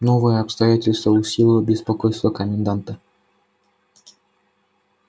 новое обстоятельство усилило беспокойство коменданта